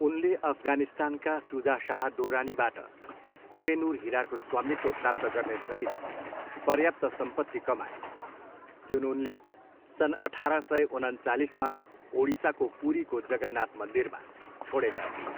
उनले अफगानिस्तानका सुजा शाह दुर्रानीबाट कोह ए नुर हिराको स्वामित्व प्राप्त गर्ने सहित पर्याप्त सम्पत्ति कमाए, जुन उनले सन् अठार सय उनन्चालिसमा ओडिसाको पुरीको जगन्नाथ मन्दिरमा छोडेका थिए।